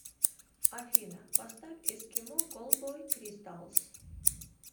афина поставь эскимо колбой кристалс